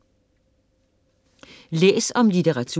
Læs om litteratur